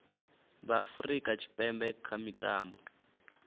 vha afurika tshipembe kha mitambo